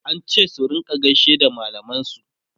an ce su rinka gaishe da mallaman su